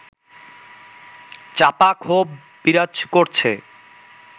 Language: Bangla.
চাপা ক্ষোভ বিরাজ করছে